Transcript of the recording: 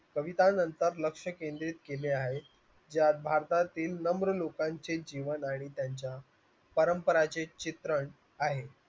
कविता नंतर लक्ष केंद्रित केले आहे त्या भारतातील नम्र लोकांचे जीवन आहेत त्यांच्या परंपरांचे चित्र आहेत